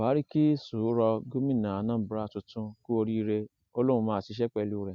buhari kí sùúrọ gómìnà anaambra tuntun kú oríire ó lóun máa ṣiṣẹ pẹlú rẹ